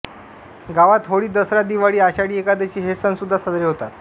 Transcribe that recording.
गावात होळी दसरा दिवाळी आषाढी एकादशी हे सणसुद्धा साजरे होतात